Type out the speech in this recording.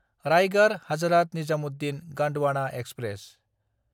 रायगड़–हाजरात Nizamuddin Gondwana express